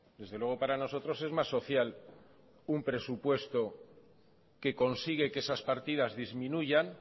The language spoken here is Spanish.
desde luego para nosotros es más social un presupuesto que consigue que esas partidas disminuyan